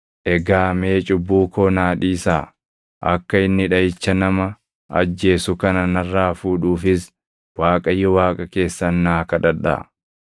Egaa mee cubbuu koo naa dhiisaa; akka inni dhaʼicha nama ajjeesu kana narraa fuudhuufis Waaqayyo Waaqa keessan naa kadhadhaa.”